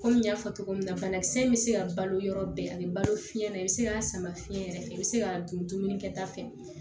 Kɔmi n y'a fɔ cogo min na banakisɛ in bɛ se ka balo yɔrɔ bɛɛ ani balo fiɲɛn na i bɛ se k'a sama fiɲɛ yɛrɛ i bɛ se k'a dun dumuni kɛta fɛ